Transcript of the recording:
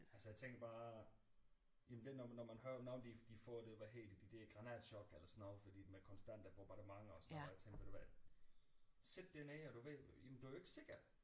Altså jeg tænker bare jamen det når man når man hører om hvordan de får hvad hedder det det der granatchok eller sådan noget fordi der konstant er bombardementer og jeg tænkte ved du hvad sidde dernede og du ved jamen du er jo ikke sikker